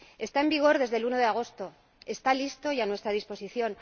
Está en vigor desde el 1 de agosto, está listo y a nuestra disposición.